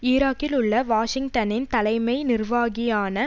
ஈராக்கில் உள்ள வாஷிங்டனின் தலைமை நிர்வாகியான